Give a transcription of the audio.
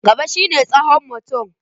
Gaba shi ne tsawon mutum.